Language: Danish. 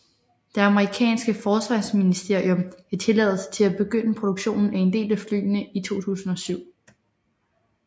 Det amerikanske forsvarsministerium gav tilladelse til at begynde produktionen af en del af flyene i 2007